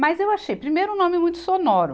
Mas eu achei primeiro um nome muito sonoro.